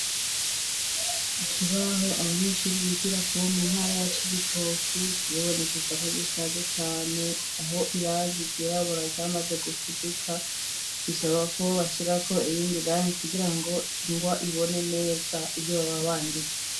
Ikibaho abanyeshuri bigirako bo mu ntara ya Cibitoki, kiribonekeza ko gishaje cane, aho irangi ryirabura ryamaze gufudika, bisaba ko bashirako irindi rangi kugira ngo ingwa ibone neza ivyo baba banditse.